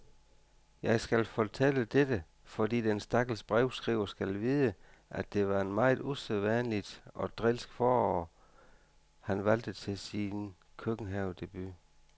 Jeg fortæller dette, fordi den stakkels brevskriver skal vide, at det var en meget usædvanligt og drilsk forår, han valgte til sin køkkenhavedebut.